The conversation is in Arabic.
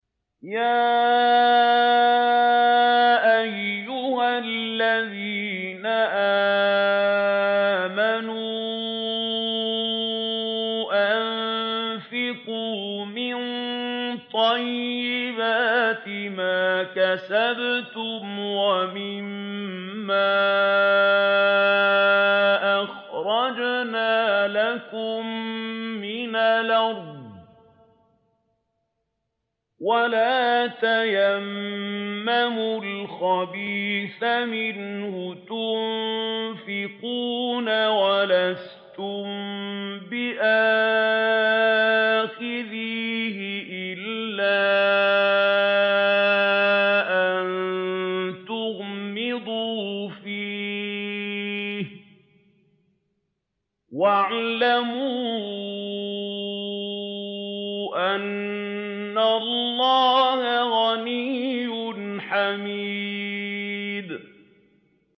يَا أَيُّهَا الَّذِينَ آمَنُوا أَنفِقُوا مِن طَيِّبَاتِ مَا كَسَبْتُمْ وَمِمَّا أَخْرَجْنَا لَكُم مِّنَ الْأَرْضِ ۖ وَلَا تَيَمَّمُوا الْخَبِيثَ مِنْهُ تُنفِقُونَ وَلَسْتُم بِآخِذِيهِ إِلَّا أَن تُغْمِضُوا فِيهِ ۚ وَاعْلَمُوا أَنَّ اللَّهَ غَنِيٌّ حَمِيدٌ